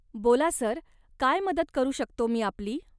बोला, सर, काय मदत करू शकतो मी आपली?